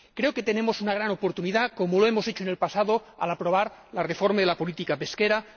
Creo que tenemos una gran oportunidad, como lo hemos hecho en el pasado, al aprobar la reforma de la política pesquera.